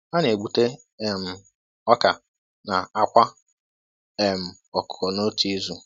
Ha na-egbute um ọka na àkwá um ọkụkọ n'otu izu.